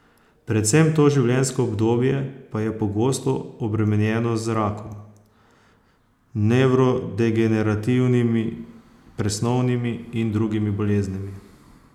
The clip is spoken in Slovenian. Predvsem to življenjsko obdobje pa je pogosto obremenjeno z rakom, nevrodegenerativnimi, presnovnimi in drugimi boleznimi.